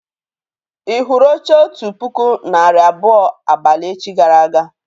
Ì hụrụ oche otu puku narị abụọ abalị echi gara aga?